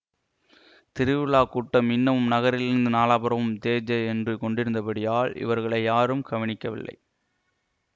திருவிழாக் கூட்டம் இன்னமும் நகரிலிருந்து நாலாபுறமும் ஜேஜே என்று கொண்டிருந்தபடியால் இவர்களை யாரும் கவனிக்கவில்லை